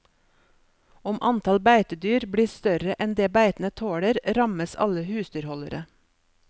Om antall beitedyr blir større enn det beitene tåler, rammes alle husdyrholdere.